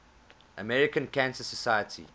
american cancer society